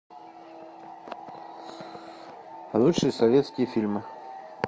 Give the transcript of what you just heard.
лучшие советские фильмы